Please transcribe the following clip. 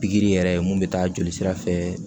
Pikiri yɛrɛ mun bɛ taa jolisira fɛ